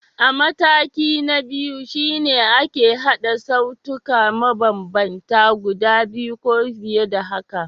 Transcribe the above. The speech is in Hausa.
Mataki na biyu shi ne ake haɗa sautuka mabambanta guda biyu ko fiye da haka.